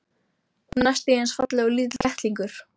Hún er næstum því eins falleg og lítill kettlingur.